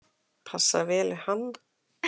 Passar vel við hann.